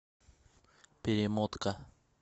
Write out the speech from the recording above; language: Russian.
перемотка